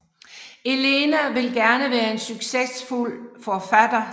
Elena vil gerne være en sucessfuld forfatter